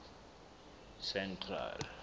central